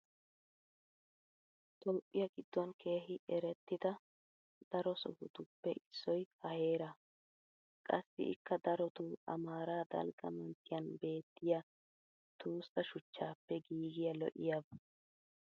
toophiya giddon keehi erettida daro sohotuppe issoy ha heeraa. qassi ikka darotoo amaaraa dalgga manttiyan beettiya tossa shuchchaappe giigiya lo'iyaaba.